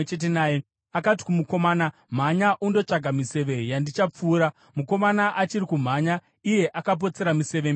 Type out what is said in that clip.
akati kumukomana, “Mhanya undotsvaka miseve yandichapfura.” Mukomana achiri kumhanya, iye akapotsera museve mberi kwake.